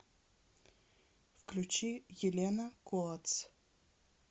включи елена коатс